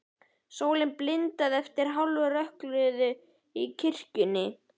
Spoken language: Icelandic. Sólin blindaði eftir hálfrökkrið í kirkjunni.